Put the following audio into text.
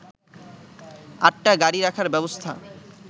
আটটা গাড়ি রাখার ব্যবস্থা